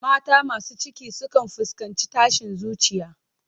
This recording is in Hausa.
Mata masu ciki sukan fuskanci tashin zuciya.